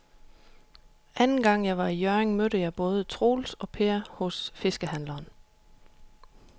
Anden gang jeg var i Hjørring, mødte jeg både Troels og Per hos fiskehandlerne.